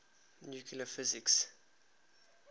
nuclear physics